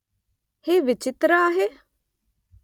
मी हे तर विचित्र आहे ?